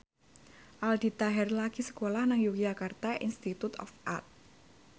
Aldi Taher lagi sekolah nang Yogyakarta Institute of Art